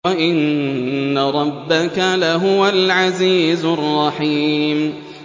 وَإِنَّ رَبَّكَ لَهُوَ الْعَزِيزُ الرَّحِيمُ